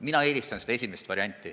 Mina eelistan seda esimest varianti.